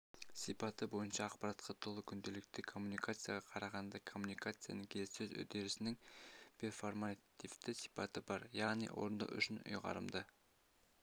сипаты бойынша ақпаратқа толы күнделікті коммуникацияға қарағанда коммуникацияның келіссөз үдерісінің перформативті сипаты бар яғни орындау үшін ұйғарымдық